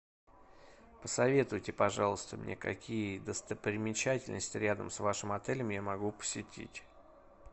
посоветуйте пожалуйста мне какие достопримечательности рядом с вашим отелем я могу посетить